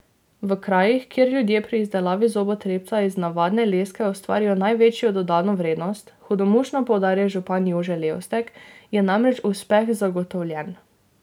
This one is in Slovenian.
V krajih, kjer ljudje pri izdelavi zobotrebca iz navadne leske ustvarijo največjo dodano vrednost, hudomušno poudarja župan Jože Levstek, je namreč uspeh zagotovljen.